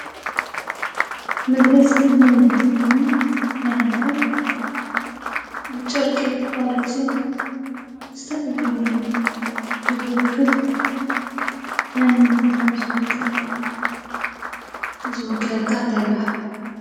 መግለፂ መንነት ኮይኑ ናይ ሃገር ኣብ ጨርቂ ተቀሪፁ ዝተፈላለዩ ብዝውክል፤ መንነትካ ብዝውክል፣ ዝውክለካ እንታይ ይብሃል?